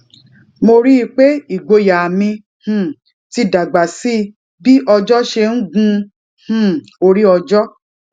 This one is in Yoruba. mo rí i pe igboya mi um ti dagba si bi ojo se n gun um ori ojo